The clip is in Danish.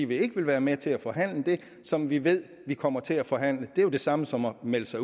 vi ikke vil være med til at forhandle det som vi ved vi kommer til at forhandle det er jo det samme som at melde sig